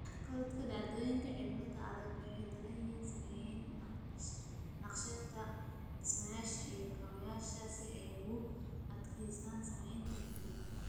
Korodhka dhacdooyinka cimilada aadka u daran waxay saameeyaan naqshadaynta dhismayaasha iyo kaabayaasha si ay ugu adkaystaan saamaynta cimilada.